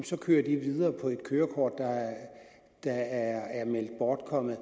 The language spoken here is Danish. så kører de videre på et kørekort der er meldt bortkommet